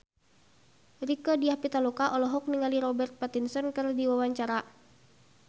Rieke Diah Pitaloka olohok ningali Robert Pattinson keur diwawancara